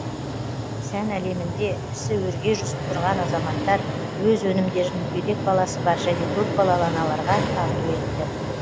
сән әлемінде ісі өрге жүзіп тұрған азаматтар өз өнімдерін мүгедек баласы бар және көпбалалы аналарға тарту етті